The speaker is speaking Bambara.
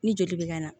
Ni joli bɛ ka na